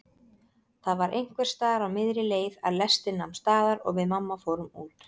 Það var einhversstaðar á miðri leið að lestin nam staðar og við mamma fórum út.